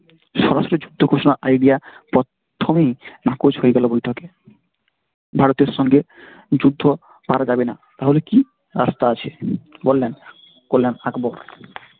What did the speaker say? স্বরাষ্ট্র যুদ্ধ ঘোষণা idea প্রথমেই নাকচ হয়ে গেল বৈঠকে ভারতের সঙ্গে যুদ্ধে পারা যাবে না তাহলে কি? রাস্তা আছে বললেন কল্যাণ আকবার